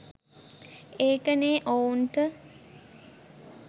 ඒකනේ ඔවුන්